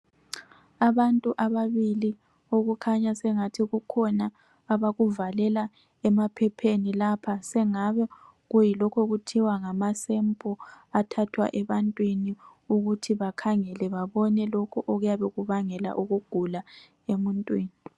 Abantu ababili okukhanya sengathi kukhona abakuvalela emaphepheni lapha. Sokungani yilokhu okuthiwa ngamasempulu athathwa ebantwini ukuze kubonakale okubangela ukugula.